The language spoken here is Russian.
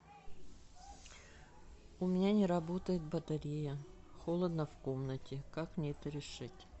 у меня не работает батарея холодно в комнате как мне это решить